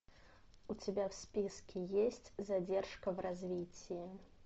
у тебя в списке есть задержка в развитии